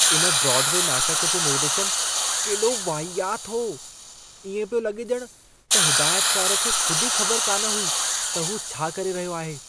इन ब्रॉडवे नाटक जो निर्देशनु केॾो वाहियात हो। इएं पियो लॻे ॼण त हिदायतकारु खे ख़ुद ई ख़बर कान हुई त हू छा करे रहियो आहे।